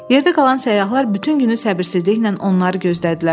Yerdə qalan səyyahlar bütün günü səbirsizliklə onları gözlədilər.